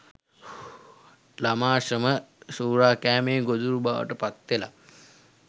ළමා ශ්‍රම සූරාකෑමේ ගොදුරු බවට පත්වෙලා